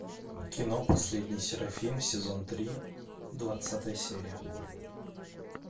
кино последний серафим сезон три двадцатая серия